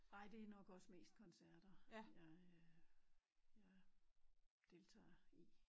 Nej det er nok også mest koncert jeg øh jeg deltager i